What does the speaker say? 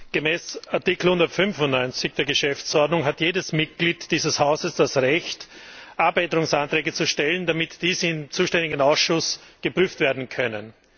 Gemäß Artikel 195 der Geschäftsordnung hat jedes Mitglied dieses Hauses das Recht, Änderungsanträge zu stellen, damit diese im zuständigen Ausschuss geprüft werden können.